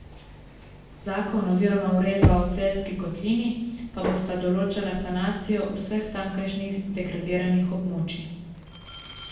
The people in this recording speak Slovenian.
Zakon oziroma uredba o Celjski kotlini pa bosta določala sanacijo vseh tamkajšnjih degradiranih območij.